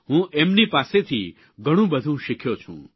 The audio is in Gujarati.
હું એમની પાસેથી ઘણુંબધું શીખ્યો છું